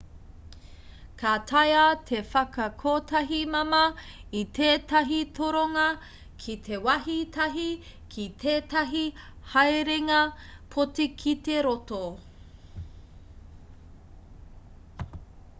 ka taea te whakakotahi māmā i tētahi toronga ki te wāhi tahi ki tētahi haerenga poti ki te roto